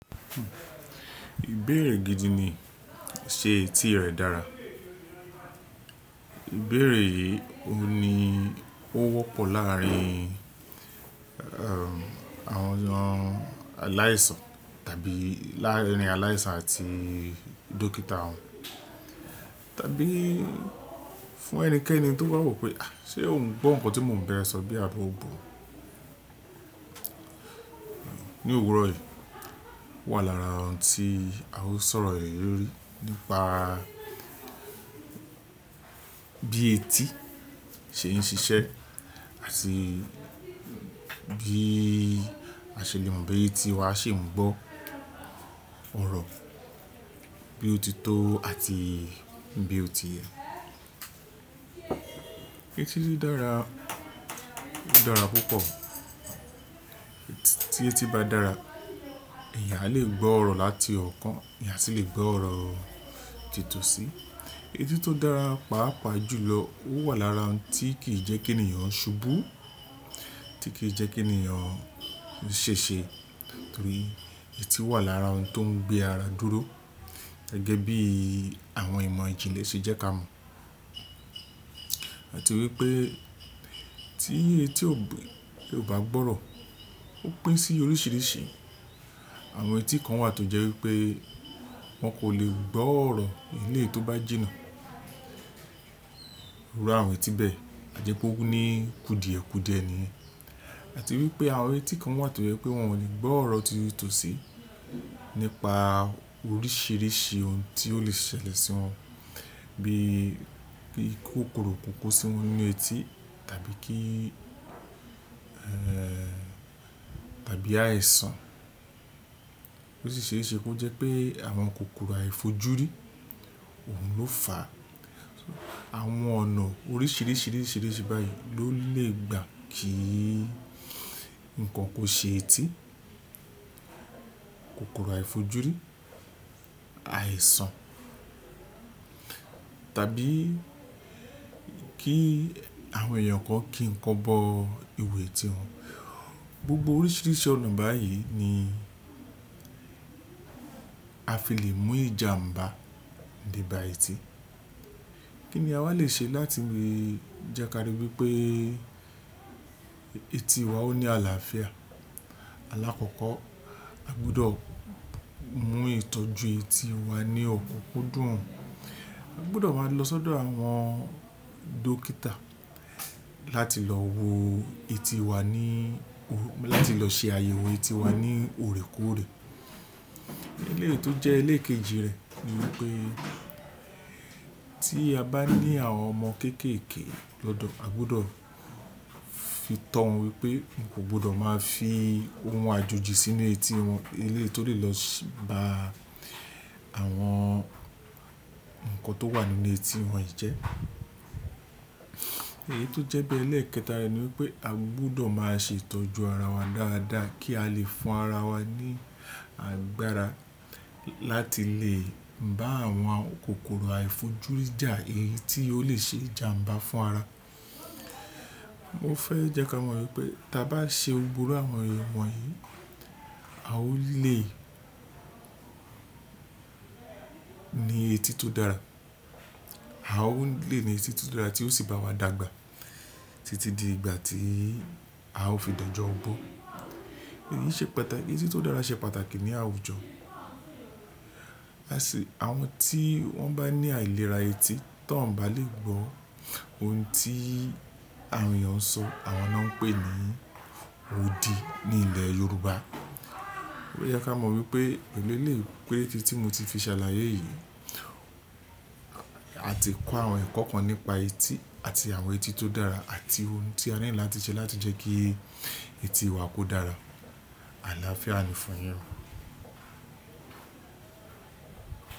Ìbéèrè gidi ni ṣé etí rẹ̀ dára? Ìbéèrè yìí ò ní ó wọ́pọ̀ láàrin, ẹ́, àwọn ọmọ aláìsàn tàbí láàrin aláìsàn àti dókítà wọn. Tàbí fún ẹnikẹ́ni tó bá wò pé ṣé ò ń gbọ́ nǹkan tí mò ń ba ee sọ bí i àbi ò gbọ̀. Ni òwúrọ̀ yìí wà lára ohun tí a ó sọ̀rọ̀ le lórí nípa bí etí ṣe ń ṣiṣẹ́ àti bí àṣele boya etí wa ṣé ń gbọ́ ọ̀rọ̀ bí ó ti tó àti bí ó ti yẹ. Etí tí ó dára, ó dára púpọ̀. Etí tí eti bá dára, ẹ̀eyàn aa lè gbọ́ ọ̀rọ̀ láti ọ̀ọ́kán, ẹ̀eyàn aa sì lè gbọ́ ọ̀rọ̀ titun sí. Etí tó dára pàápàá jùlọ ó wà lára ohun tí kì í jẹ́ kí ènìyàn ṣubú, tí kì í jẹ́ kí ènìyàn ṣèṣe nítorí etí wà lára ohun tó ń gbé ara dúró gẹ́gẹ́ bí àwọn ìmọ̀ ìjìnlẹ̀ ṣe jẹ́ kí a mọ̀. Àti wípé tí etí ò bá gbọ́ ọ̀rọ̀ ó pín sí oríṣìíríṣìí. Àwọn etí kan wà tó jẹ́ wípé wọn kò lè gbọ́ ọ̀rọ̀ eléyi to bá jìnà. Iru àwọn etí bẹ́ẹ̀, àje pe ó ní kudiẹ̀kudiẹ̀ niyen. Àti wípé àwọn etí kan wà tó jẹ́ pé wọn ò lè gbọ́ ọ̀rọ̀ titòsí nípa oríṣìíríṣìí ohun tí ó lè ṣẹlẹ̀ sí wọn bí i kòkòrò kókó sínu etí tàbí kí, ẹ́, tàbí àìsàn. Osi sese, kí ó jẹ́ pé àwọn kòkòrò àìfojúrí, òun ló fà á. Àwọn ọ̀nà oríṣìíríṣìí, oríṣìíríṣìí báyìí ló lè gbà kí nǹkan kó ṣe etí, kòkòrò àìfojúrí, àìsàn tàbí kí àwọn èèyàn kọ́ kí nǹkan bọ ìwo etí wọn. Gbogbo oríṣìíríṣìí ọ̀nà báyìí ni a fi lè mú ìjàmbá de ba etí. Kí ni a wá lè ṣe láti rí i jẹ́ ká rí wípé etí wa ó ní àlàáfíà? Alákọ̀ọ́kọ́ a gbọdọ̀ mú ìtọ́jú etí wa ní ọ̀kukudùn. A gbọdọ̀ máa lọ sọ́dọ̀ àwọn dókítà láti lọ wo etí wa ní, láti lọ ṣe àyẹ̀wò etí wa ní òrékorè. Eléyi to jẹ́ eléèkeji rẹ̀ ni wípé tí a bá ní àwọn ọmọ kéékèékee lọ́dọ̀ a gbọdọ̀ fi tọ́ wọn wípé wọn kò gbọdọ̀ máa fi ohun àjòjì sínú etí wọn eléyi to lè lọ bá àwọn nǹkan tó wà nínú etí wọn jẹ́. Eyi to jẹ́ bi, ẹlẹ́ẹ̀kẹta rẹ̀ ni wípé a gbọdọ̀ máa ṣe ìtọ́jú ara wa dáadáa kí a lè fún ara wa ní agbára láti lè bá àwọn kòkòrò àìfojúrí jà èyí tí ó lè ṣe ìjàmbá fún ara. Mo fẹ́ jẹ́ kí a mọ̀ wípé tí a bá ṣe gbogbo àwọn ìmọ̀ yìí a ó lè ní etí tó dára. A ó lè ní etí tó dára tí ó sì bá wa dàgbà títí di ìgbà tí a ó fi dọ́jọ́ ọgbọ. Èyí ṣe pàtàkì, etí tó dára ṣe pàtàkì ní àwùjọ. Àti àwọn tí wọ́n bá ní àìlera etí tí wọ́n ò bá lè gbọ́ ohun tí àwọn èèyàn ń sọ, àwọn ni wọ́n ń pè ní òdì ní ilẹ̀ Yorùbá. Ó yẹ kí a mọ̀ wípé èló lè pé etí tí mo ti fi ṣàlàyé yìí a ti kó àwọn ẹ̀kọ́ kan nípa etí àti àwọn etí tó dára àti ohun tí a nílò láti ṣe láti jẹ́ kí etí wa kó dára. Àlàáfíà ni fún yín.